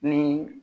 Ni